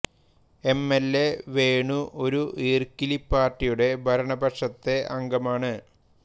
M L A Venu ഒരു ഈർക്കിലി പാർട്ടിയുടെ ഭരണപക്ഷത്തെ അംഗമാണ്